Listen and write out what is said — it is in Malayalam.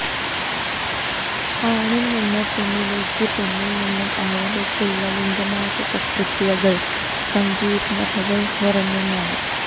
ആണില്നിന്ന് പെണ്ണിലേക്കും പെണ്ണില് നിന്ന് ആണിലേക്കുമുള്ള ലിംഗമാറ്റ ശസ്ത്രക്രിയകള് സങ്കീര്ണ്ണതകള് നിറഞ്ഞ ഒന്നാണ്